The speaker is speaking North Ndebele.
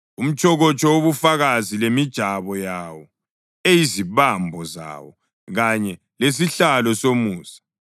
umtshokotsho wobufakazi lemijabo yawo eyizibambo zawo kanye lesihlalo somusa;